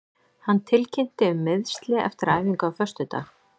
Hann tilkynnti um meiðsli eftir æfingu á föstudag.